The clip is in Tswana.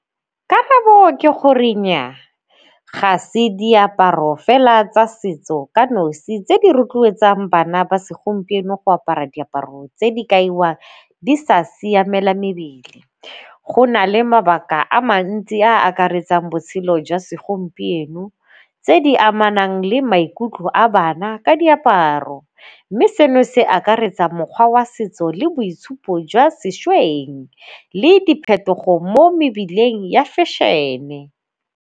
Karabo ke gore nnyaa, ga se diaparo fela tsa setso ka nosi tse di rotloetsang bana ba segompieno go apara diaparo tse di kaiwa di sa siamela mebele. Go na le mabaka a mantsi a akaretsang botshelo jwa segompieno, tse di amanang le maikutlo a bana ka diaparo, mme seno se akaretsa mokgwa wa setso le boitshupo jwa sešweng le diphetogo mo mebileng ya fashion-e.